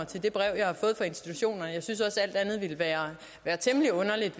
til de breve jeg har fået fra institutioner jeg synes også at alt andet ville være være temmelig underligt